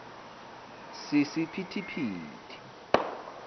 sisi phithi phithi